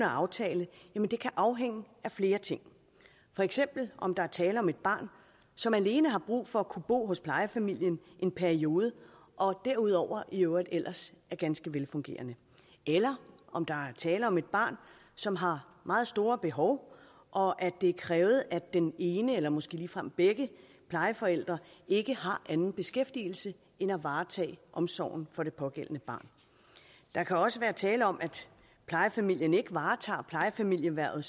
at aftale kan afhænge af flere ting for eksempel om der er tale om et barn som alene har brug for at kunne bo hos plejefamilien i en periode og derudover i øvrigt ellers er ganske velfungerende eller om der er tale om et barn som har meget store behov og at det er krævet at den ene eller måske ligefrem begge plejeforældre ikke har anden beskæftigelse end at varetage omsorgen for det pågældende barn der kan også være tale om at plejefamilien ikke varetager plejefamiliehvervet